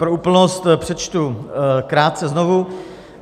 Pro úplnost přečtu krátce znovu.